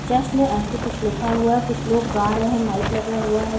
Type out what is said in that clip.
जश्न ऐसे कुछ लिखा हुआ हैं कुछ लोग गा रहै हैं माइक लगा हुआ है।